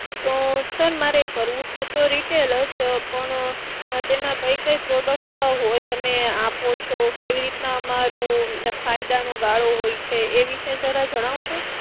તો હું sir મારે કરવું છે તો Retail જ પણ તેમાં કઈ કઈ products હોય તમે આપો છો કેવી રીતે અમારું ફાયદાનો ગાળો હોય છે? એ વિશે જરા જણાવશો?